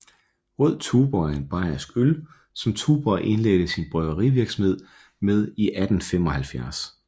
Rød Tuborg er en bayersk øl som Tuborg indledte sin bryggerivirksomhed med i 1875